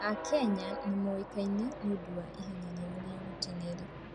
Akenya nĩ moĩkaine nĩ ũndũ wa ihenya rĩao rĩa gũteng'era.